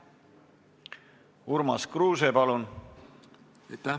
Urmas Kruuse, palun!